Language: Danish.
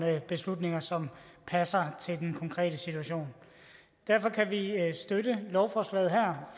beslutninger som passer til den konkrete situation derfor kan vi støtte lovforslaget her